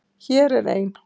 Hér er ein.